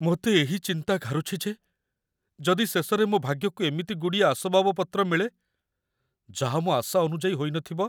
ମୋତେ ଏହି ଚିନ୍ତା ଘାରୁଛି ଯେ ଯଦି ଶେଷରେ ମୋ ଭାଗ୍ୟକୁ ଏମିତି ଗୁଡ଼ିଏ ଆସବାବପତ୍ର ମିଳେ, ଯାହା ମୋ ଆଶା ଅନୁଯାୟୀ ହୋଇନଥିବ!